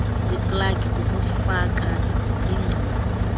zeplagi kukufaka iingcingo